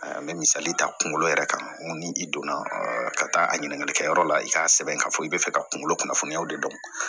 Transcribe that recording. N bɛ misali ta kunkolo yɛrɛ kan ni i donna ka taa a ɲininkalikɛ yɔrɔ la i k'a sɛbɛn k'a fɔ i bɛ fɛ ka kunkolo kunnafoniyaw de dɔn